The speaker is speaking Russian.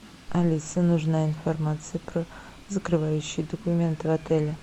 алиса нужна информация про закрывающий документ в отеле